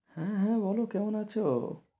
হ্যাঁ হ্যাঁ বলো কেমন আছ?